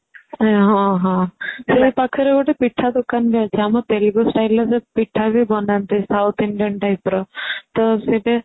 ହଁ ହଁ ସେଇ ପାଖରେ ଗିତେ ପିଠା ଦୋକାନ ବି ଅଛି ଆମ ତେଲଗୁ styleର ସେ ପିଠା ବି ବନାନ୍ତି south indian type ର ତ ସେଠି